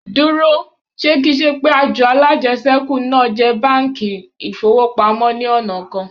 Dúró, ṣe kì ń ṣe pé àjọ alájẹṣẹ́kù náà jẹ́ báńkì ìfowópamọ́ ní ọ̀nà kan?